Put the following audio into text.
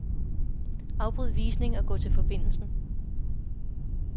Afbryd visning og gå til forbindelsen.